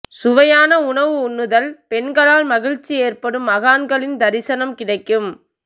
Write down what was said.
சுவையான உணவு உண்ணுதல் பெண்களால் மகிழ்ச்சி ஏற்படும் மகான்களின் தரிசனம் கிடைக்கும்